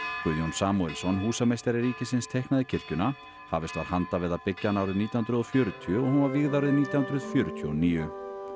Guðjón Samúelsson húsameistari ríkisins teiknaði kirkjuna hafist var handa við að byggja hana árið nítján hundruð og fjörutíu og hún var vígð árið nítján hundruð fjörutíu og níu